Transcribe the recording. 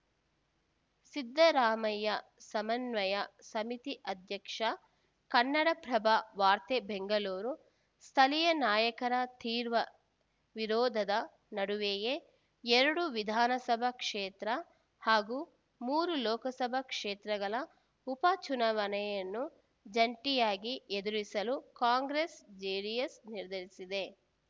ಸಿದ್ದರಾಮಯ್ಯ ಸಮನ್ವಯ ಸಮಿತಿ ಅಧ್ಯಕ್ಷ ಕನ್ನಡಪ್ರಭ ವಾರ್ತೆ ಬೆಂಗಳೂರು ಸ್ಥಳೀಯ ನಾಯಕರ ತೀವ್ರ ವಿರೋಧದ ನಡುವೆಯೇ ಎರಡು ವಿಧಾನಸಭಾ ಕ್ಷೇತ್ರ ಹಾಗೂ ಮೂರು ಲೋಕಸಭಾ ಕ್ಷೇತ್ರಗಳ ಉಪ ಚುನಾವಣೆಯನ್ನು ಜಂಟಿಯಾಗಿ ಎದುರಿಸಲು ಕಾಂಗ್ರೆಸ್‌ಜೆಡಿಎಸ್‌ ನಿರ್ಧರಿಸಿದೆ